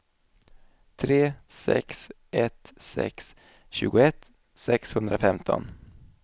tre sex ett sex tjugoett sexhundrafemton